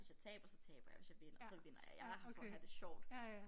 Hvis jeg taber så taber jeg hvis jeg vinder så vinder jeg jeg er her for at have det sjovt